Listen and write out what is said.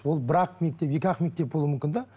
ол бір ақ мектеп екі ақ мектеп болуы мүмкін де